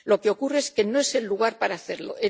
Lo que ocurre es que no es el lugar para hacerlo.